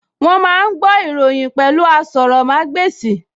Wọ́n máa ń gbọ́ ìròyìn pẹ̀lú asọrọ̀mágbèsì